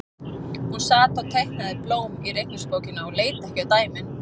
Hún sat og teiknaði blóm í reikningsbókina og leit ekki á dæmin.